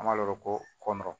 An b'a ɔrɔ ko kɔn